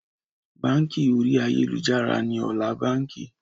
Báńkì orí ayélujára ni ọ̀la báńkì